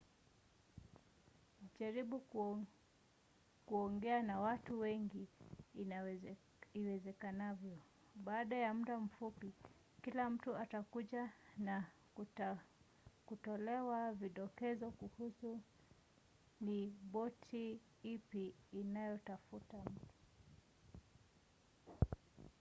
jaribu kuongea na watu wengi iwezekanavyo. baada ya muda mfupi kila mtu atakujua na watakutolea vidokezo kuhusu ni boti ipi inayotafuta mtu